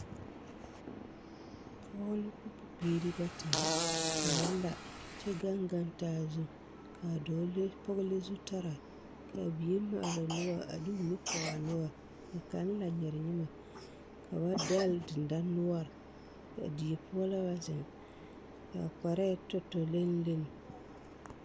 Pɔge ne bibiiri bata la ka ba la kyɛ gaŋ gaŋ taa zu k'a dɔɔ le pɔge le zutaraa k'a bie maale noɔre a de o nu pɔge a noɔre ka kaŋ la nyerenyemɛ ka ba dɛle dendanoɔre a die poɔ la ba zeŋ k'a kparɛɛ tɔ tɔ lenni lenni.